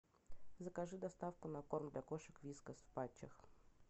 закажи доставку на корм для кошек вискас в патчах